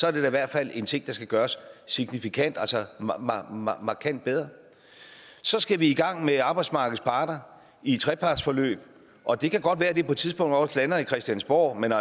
er det da i hvert fald en ting der skal gøres signifikant altså markant bedre så skal vi i gang med arbejdsmarkedets parter i et trepartsforløb og det kan godt være at det på et tidspunkt også lander på christiansborg men